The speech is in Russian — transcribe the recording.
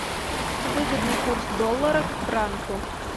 выгодный курс доллара к франку